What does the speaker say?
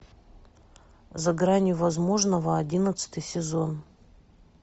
за гранью возможного одиннадцатый сезон